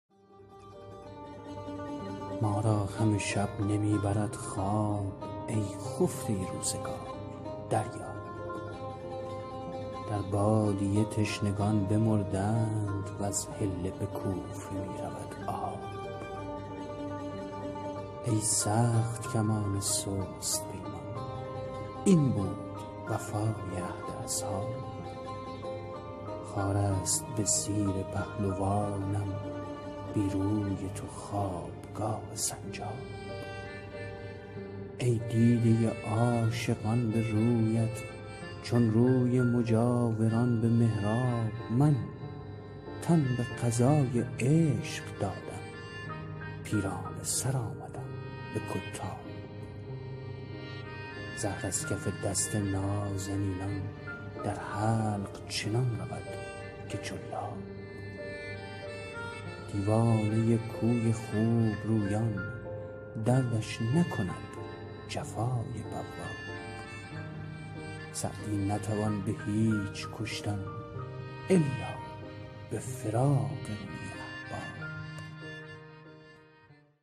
ما را همه شب نمی برد خواب ای خفته روزگار دریاب در بادیه تشنگان بمردند وز حله به کوفه می رود آب ای سخت کمان سست پیمان این بود وفای عهد اصحاب خار است به زیر پهلوانم بی روی تو خوابگاه سنجاب ای دیده عاشقان به رویت چون روی مجاوران به محراب من تن به قضای عشق دادم پیرانه سر آمدم به کتاب زهر از کف دست نازنینان در حلق چنان رود که جلاب دیوانه کوی خوبرویان دردش نکند جفای بواب سعدی نتوان به هیچ کشتن الا به فراق روی احباب